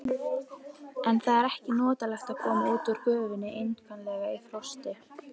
En það er ekki notalegt að koma út úr gufunni einkanlega í frosti.